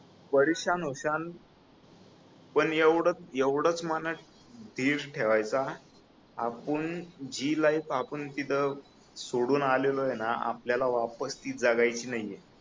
परेशान होशान पण एवढच एवढच मनाची जिद्द ठेवायची आपण जी लाइफआपण तिथ सोडून आलेलोय ना आपल्याला वापस ती जगायची नाहीये